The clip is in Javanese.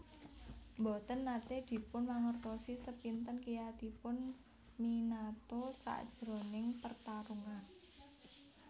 Mboten nate dipun mangertosi sepinten kiyatipun Minato sajroning pertarungan